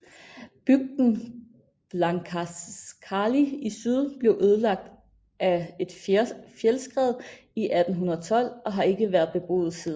Bygden Blankaskáli i syd blev ødelagt af et fjeldskred i 1812 og har ikke været beboet siden